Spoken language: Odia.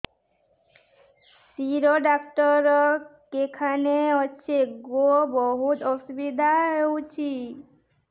ଶିର ଡାକ୍ତର କେଖାନେ ଅଛେ ଗୋ ବହୁତ୍ ଅସୁବିଧା ହଉଚି